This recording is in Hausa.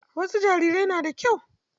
Wasu jarirai na da kyau.